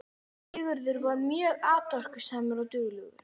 Sigurður var mjög atorkusamur og duglegur.